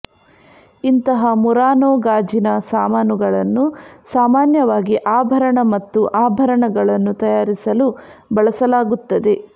ಇಂತಹ ಮುರಾನೊ ಗಾಜಿನ ಸಾಮಾನುಗಳನ್ನು ಸಾಮಾನ್ಯವಾಗಿ ಆಭರಣ ಮತ್ತು ಆಭರಣಗಳನ್ನು ತಯಾರಿಸಲು ಬಳಸಲಾಗುತ್ತದೆ